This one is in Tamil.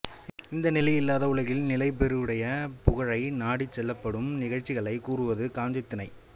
இந்த நிலையில்லாத உலகில் நிலைபேறுடைய புகழை நாடிச் செயல்படும் நிகழ்ச்சிகளைக் கூறுவது காஞ்சித்திணை